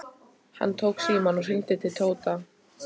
Hann tók símann og hringdi til Tóta.